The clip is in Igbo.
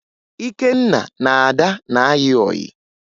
Ikenna na Ada na-ayị ọyị